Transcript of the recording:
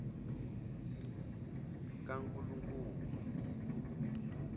kankulunkulu